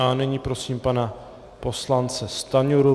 A nyní prosím pana poslance Stanjuru.